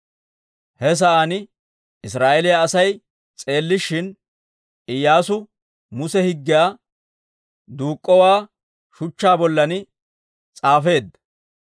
He sa'aan Israa'eeliyaa Asay s'eellishin, Iyyaasu Muse Higgiyaa duuk'k'owaa shuchchaa bollan s'aafeedda.